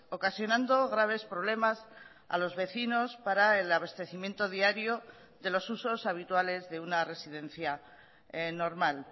ocasionando graves problemas a los vecinos para el abastecimiento diario de los usos habituales de una residencia normal